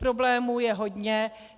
Problémů je hodně.